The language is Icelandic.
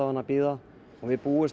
að bíða við búumst